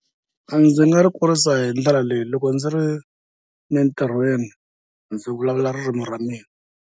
A ndzi nga ri kurisa hi ndlela leyi loko ndzi ri entirhweni ndzi vulavula ririmi ra mina.